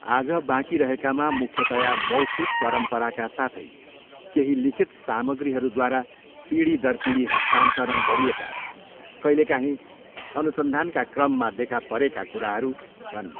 आज बाँकी रहेकामा मुख्यतया मौखिक परम्पराका साथै केही लिखित सामग्रीहरूद्वारा पीढी दर पिढी हस्तान्तरण गरिएका, कहिलेकाहीँ अनुसन्धानका क्रममा देखा परेकाहरू कुराहरू छन्।